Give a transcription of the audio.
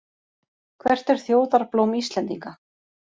Hvert er þjóðarblóm Íslendinga?